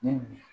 Ne bi